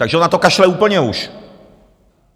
Takže on na to kašle úplně už.